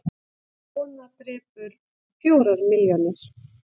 Kona drepur fjórar milljónir